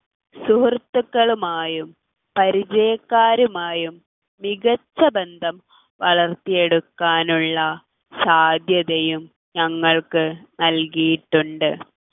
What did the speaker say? സുഹൃത്തുക്കളുമായും പരിചയക്കാരുമായും മികച്ച ബന്ധം വളർത്തിയെടുക്കാനുള്ള സാധ്യതയും ഞങ്ങൾക്ക് നൽകിയിട്ടുണ്ട്